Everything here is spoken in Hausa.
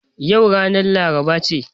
Yau ranar laraba ce